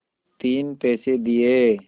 तीन पैसे दिए